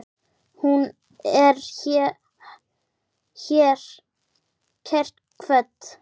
Hún er hér kært kvödd.